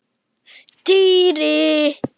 Týri!